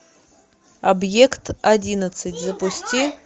объект одиннадцать запусти